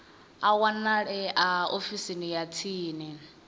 a wanalea ofisini ya tsini